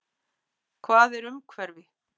Hvað er umhverfi?